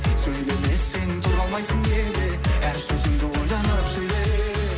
сөйлемесең тұра алмайсың неге әр сөзіңді ойланып сөйле